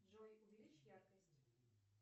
джой увеличь яркость